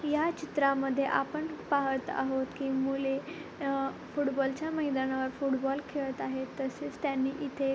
या चित्रामध्ये आपण पाहत आहोत की मुले फुटबॉलच्या मैदानावर फुटबॉल खेळत आहेत तसेच त्यांनी इथे--